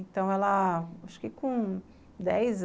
Então ela, acho que com dez an